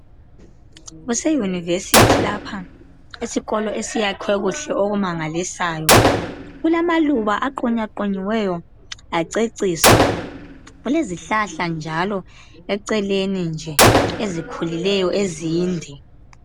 Kuse University lapha esikolo esiyakhwe kuhle okumangalisayo. Kulamaluba aqunyaqunyiweyo aceciswa. Kulezihlahla njalo eceleni nje ezikhulileyo ezinde.